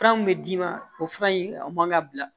Fura min bɛ d'i ma o fura in o man ka bila